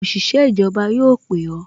Òṣìṣẹ́ ìjọba yóò pè o